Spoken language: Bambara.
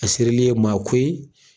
A serili ye maa ko